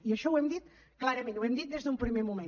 i això ho hem dit clarament ho hem dit des d’un primer moment